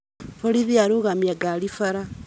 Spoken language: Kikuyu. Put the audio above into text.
Borithi arũgamia ngari bara